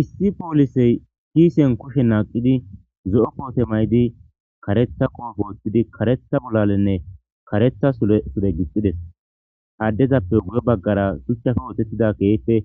issi poolisey kiisen kushe naaqidi zo'o koote maydi karetha qopo wooththidi karetha bolalenne karetha sure gixxides aaddezappe wuye baggara suchafe oosettida keheppe